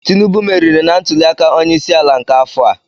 Tinubu meriri na ntuliaka onyeisiala nke afọ a.